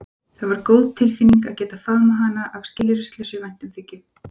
Það var góð tilfinning að geta faðmað hana af skilyrðislausri væntumþykju.